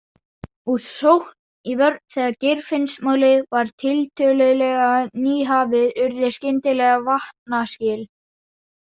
Úr sókn í vörn Þegar Geirfinnsmálið var tiltölulega nýhafið urðu skyndilega vatnaskil.